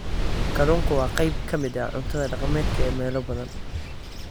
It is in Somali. Kalluunku waa qayb ka mid ah cuntada dhaqameed ee meelo badan.